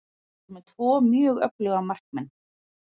Við vorum með tvo mjög öfluga markmenn.